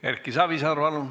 Erki Savisaar, palun!